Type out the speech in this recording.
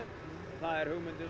það er